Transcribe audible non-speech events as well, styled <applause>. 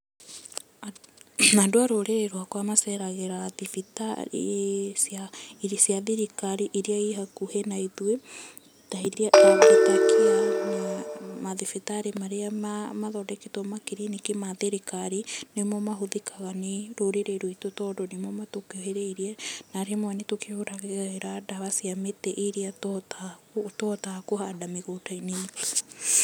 Andũ a rũrĩrĩ rwaka maceragĩra thibitarĩ cia thirikari iria ihakuhĩ na ithuĩ, <noise> mathibitarĩ marĩ mathondeketwo makiriniki ma thirikari nĩmo mahuthikaga nĩ rũrĩrĩ ruitũ tondũ nĩmo matũkuhĩrĩirie, na rĩmwe ni tũkĩhũthagira ndawa cia mĩtĩ iria tũhotaga kũhanda mĩgũnda-inĩ itũ.